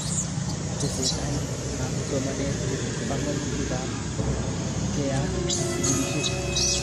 Tesetait ab somanet chepo panganutik ab keyat sukulishek